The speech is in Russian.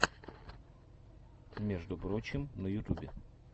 между прочим на ютубе